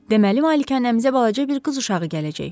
Deməli malikanəmizə balaca bir qız uşağı gələcək.